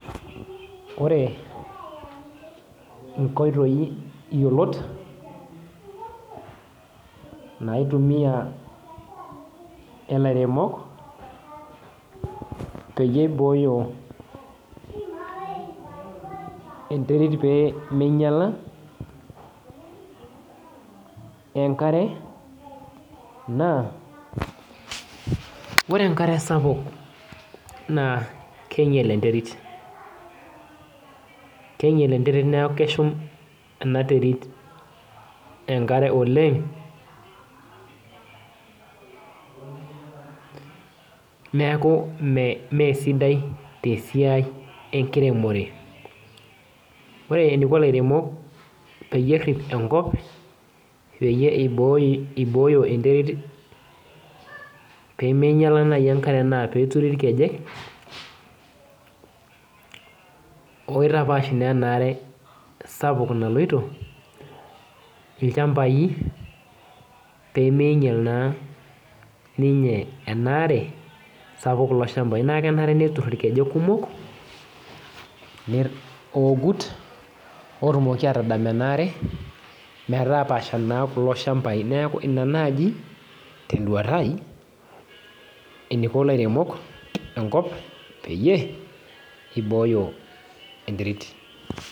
Ore inkoitoi yiolot, naitumia ilairemok, peyie ibooyo enterit peminyala, enkare naa, ore enkare sapuk naa keinyel enterit. Keinyel enterit neeku keshum enaterit enkare oleng, neeku mesidai tesiai enkiremore. Ore eniko ilairemok peyie errip enkop, peyie ibooyo enterit peminyala nai enkare naa peturi irkejek, oitapaash naa enare sapuk naloito, ilchambai, peminyal naa ninye enaare, sapuk kulo shambai. Naku kenare netur irkejek kumok, ogut, otumoki atadam enaare, metapasha naa kulo shambai. Neeku ina naji, teduata eniko ilairemok enkop peyie ibooyo enterit.